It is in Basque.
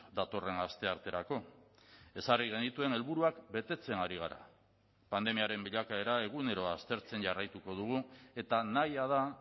datorren astearterako ezarri genituen helburuak betetzen ari gara pandemiaren bilakaera egunero aztertzen jarraituko dugu eta nahia da